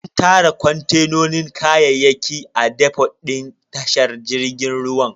An tara kontenan kayayyaki a defot din tashar jirgin ruwan.